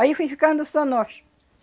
Aí fui ficando só nós.